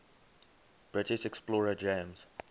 british explorer james